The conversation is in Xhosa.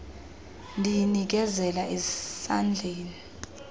ndiyi nikezela esandleni